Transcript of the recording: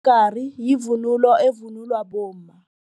Umgari yivunulo evunulwa bomma.